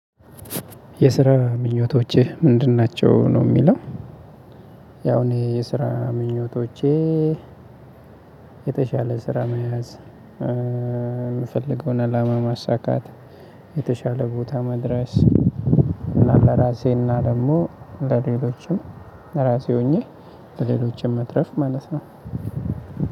የስራ ምኞቶቼ ምንድን ናቸው ነው የሚለው? ያው እኔ የስራ ምኞቶቼ የተሻለ ስራ መያዝ የምፈልገውን አላማ ማሳካት የተሻለ ቦታ መድረስ ለራሴና ደግሞ ለሌሎችም ራሴ ሆኜ ለሌሎችም መትረፍ ማለት ነው።